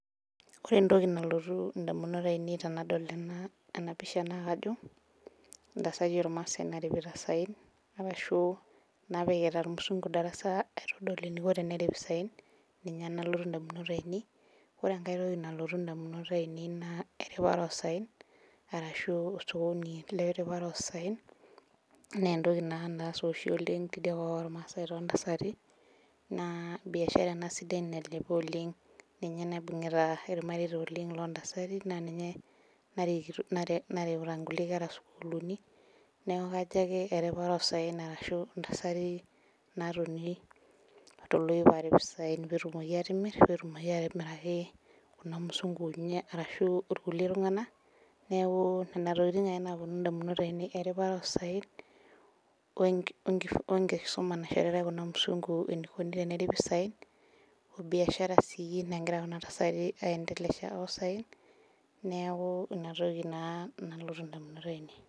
Ore entoki nalotu damunot ainei tenadol ena pisha naa kajo, intasati ilmaasae naaripita isaen. arasshu naapikita ilmusunku darasa eniko tenerip isaen. ninye nalotu damunot ainei. ore enkae toki nalotu damunot ainei naa eripata oosaen. ashu osokoni le ripata oosaen. naa entoki naa naasa oshi oleng tosokoni too ntasati. naa biashara ena nailepa oleng. ninye naibungita ilmareita loo ntasati. naa ninye nareuta nkulie kera sukuulini. neeku. kajo ake eripata oosaen arashu ntasati naatonita toloiip aarip isaen. pee etumok atimir. pee etumoki aatimiraki Kuna musunku. arashu kulie tunganak. neeku Nena tokitin ake naalotu damunot ainei. eripata oosaen. enkisuma naishoritae kuna musunku enikoni teneripi kulo saen.o biashara sii nagira Kuna tasati aendeleasha. oosaen neeku Ina toki naa nalotu damunot ainei